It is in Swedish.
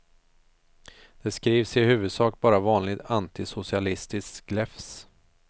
Det skrivs i huvudsak bara vanligt antisocialistiskt gläfs.